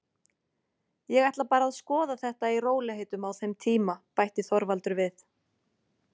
Ég ætla bara að skoða þetta í rólegheitum á þeim tíma, bætti Þorvaldur við.